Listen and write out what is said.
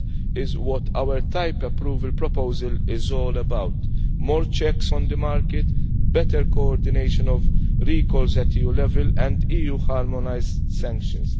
That is what our type approval proposal is all about more checks on the market, better coordination of recalls at EU level, and EU harmonised sanctions.